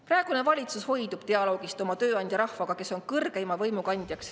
Praegune valitsus hoidub dialoogist oma tööandjaga, rahvaga, kes on kõrgeima võimu kandja.